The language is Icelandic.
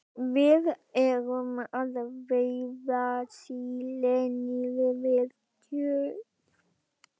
Við erum að veiða síli niður við Tjörn.